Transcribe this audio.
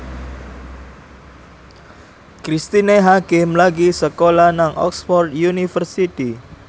Cristine Hakim lagi sekolah nang Oxford university